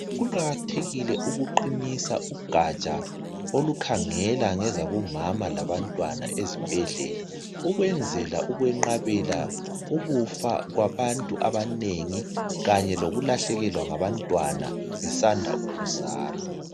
Kuqakathekile ukuqinisa ugatsha olukhangela ngezabomama labantwana ezibhedlela, ukwenzela ukwenqabela ukufa kwabantu abanengi kanye lokulahlekelwa ngabantwana kusanda ukuzalwa.